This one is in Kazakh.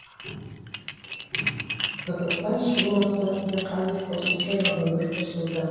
тығырықтан шығу мақсатында қазір қосымша вагондар қосылуда